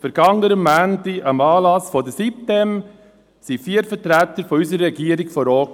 Am Anlass der Sitem-insel vom vergangenen Montag waren vier Vertreter unserer Regierung vor Ort.